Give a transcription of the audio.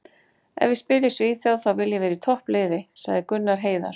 Ef ég spila í Svíþjóð þá vil ég vera í toppliði, sagði Gunnar Heiðar.